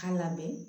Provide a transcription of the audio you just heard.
K'a lamɛn